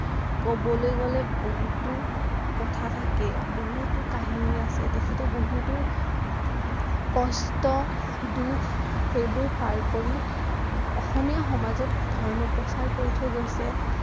কবলৈ গলে বহুতো কথা থাকে বহুতো কাহিনী আছে তেখেতে বহুতো কষ্ট, দুখ সেইবোৰ পাৰ কৰি অসমীয়া সমাজত ধৰ্ম প্ৰচাৰ কৰি থৈ গৈছে